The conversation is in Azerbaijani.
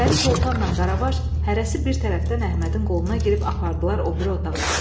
Pəri Sultanla Qaravaş hərəsi bir tərəfdən Əhmədin qoluna girib apardılar o biri otağa.